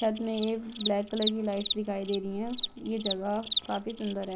छत में ये ब्लेक कलर की लाइट्स दिखाई दे रही है यह जगह काफी सुन्दर है।